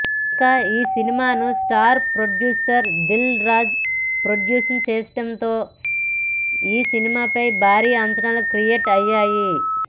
ఇక ఈ సినిమాను star producer Dil Raju produce చేస్తుండటంతో ఈ సినిమాపై భారీ అంచనాలు క్రియేట్ అయ్యాయి